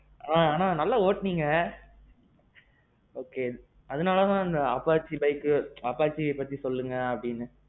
ஆ. ஆனான் நல்லா ஒட்டுனீங்க. okay அதனாலதான் இப்போ apache bike, ஆ apache பத்தி சொல்லுங்க அப்படினேன்,